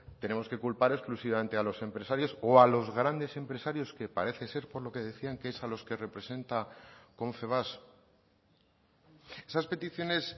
tenemos que culpar exclusivamente a los empresarios o a los grandes empresarios que parece ser por lo que decían que es a los que representa confebask esas peticiones